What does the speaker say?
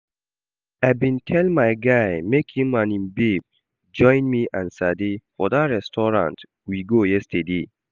I bin tell my guy make im and im babe join me and Sade for dat restaurant we go yesterday